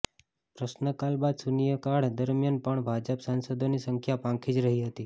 પ્રશ્નકાલ બાદ શૂન્યકાળ દરમિયાન પણ ભાજપ સાંસદોની સંખ્યા પાંખી જ રહી હતી